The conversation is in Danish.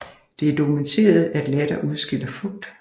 Det er dokumenteret at latter udskiller fugt